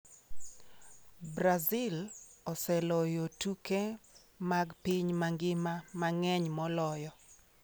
Brazil oseloyo tuke mag piny mangima mang’eny moloyo.